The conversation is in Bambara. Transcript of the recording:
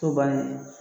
To bannen